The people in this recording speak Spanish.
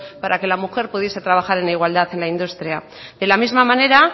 para que la mujer pudiese trabajar en igualdad en la industria de la misma manera